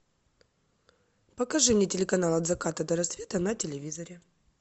покажи мне телеканал от заката до рассвета на телевизоре